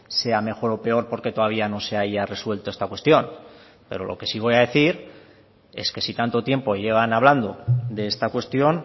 sea mejor o peor porque todavía no se haya resuelto esta cuestión pero lo que sí voy a decir es que si tanto tiempo llevan hablando de esta cuestión